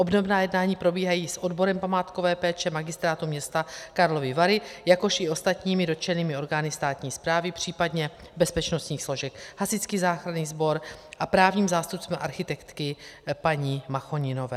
Obdobná jednání probíhají s odborem památkové péče Magistrátu města Karlovy Vary, jakož i ostatními dotčenými orgány státní správy, případně bezpečnostních složek, hasičský záchranný sbor, a právním zástupcem architektky paní Machoninové.